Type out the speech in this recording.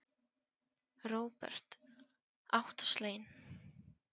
Róbert: Óttasleginn?